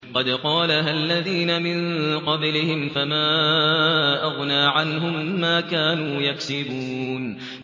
قَدْ قَالَهَا الَّذِينَ مِن قَبْلِهِمْ فَمَا أَغْنَىٰ عَنْهُم مَّا كَانُوا يَكْسِبُونَ